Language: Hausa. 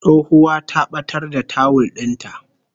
Tsohuwa ta batar da tawul din ta